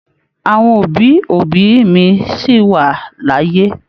Àwọn òbí òbí mí sí wa l'ayé.